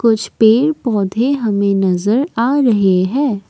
कुछ पेड़ पौधे हमें नजर आ रहे है।